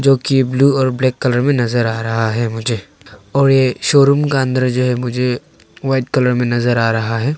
जो की ब्लू और ब्लैक कलर में नजर आ रहा है मुझे और ये शोरूम का अंदर जो है मुझे व्हाइट कलर में नजर आ रहा है।